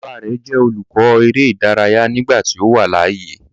Baba rẹ jẹ olukọ ere idaraya nigbati o wa laaye